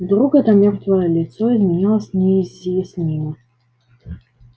вдруг это мёртвое лицо изменилось неизъяснимо